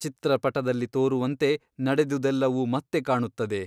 ಚಿತ್ರಪಟದಲ್ಲಿ ತೋರುವಂತೆ ನಡೆದುದೆಲ್ಲವೂ ಮತ್ತೆ ಕಾಣುತ್ತದೆ.